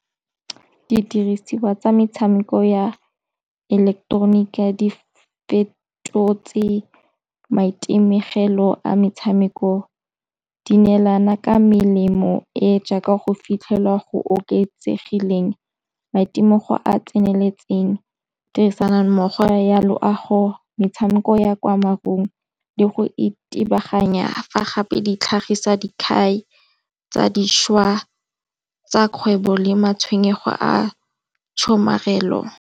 Didiriswa tsa metshameko ya ileketeroniki di fetotse maitemegelo a metshameko, di neelana ka melemo e jaaka go fitlhelwa go oketsegileng, maitemogo a tseneletseng, tirisanommogo ya loago, metshameko ya kwa mabung le go itebaganya. Fa gape di tlhagisa tsa dišwa tsa kgwebo le matshwenyego a tshomarelo.